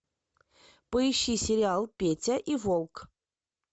поищи сериал петя и волк